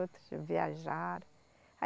Outros viajaram.